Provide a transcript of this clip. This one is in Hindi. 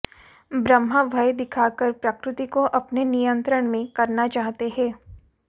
ब्रह्मा भय दिखाकर प्रकृति को अपने नियंत्रण में करना चाहते हैं